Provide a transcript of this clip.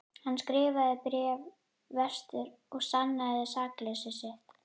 Hann skrifaði bréf vestur og sannaði sakleysi sitt.